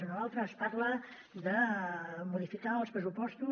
en l’altre es parla de modificar en els pressupostos